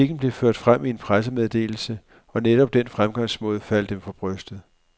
Kritikken blev ført frem i en pressemeddelse, og netop den fremgangsmåde faldt dem for brystet.